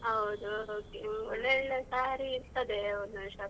ಹೌದು okay ಒಳ್ಳೆ ಒಳ್ಳೆ saree ಇರ್ತದೆ ಒಂದು ಒಂದು shop ಅಲ್ಲಿ.